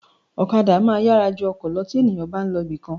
Ọ̀kadà máa yára ju ọkọ̀ lọ tí ènìyàn bá ń lọ ibìkan